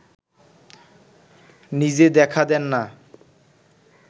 নিজে দেখা দেন না